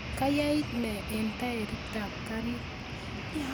kayait nee eng tairitab karit